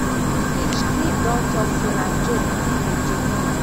hinchcliffe don tok say na joke e dey joke